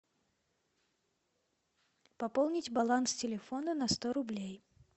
пополнить баланс телефона на сто рублей